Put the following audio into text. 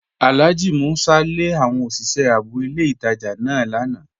Alhaji Músà lé àwọn osìṣẹ̀ ààbò ilẹ̀ ìtajá náà lànà